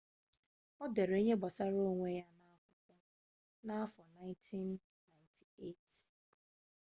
ọ dere ihe gbasara onwe ya na akwụkwọ afọ 1998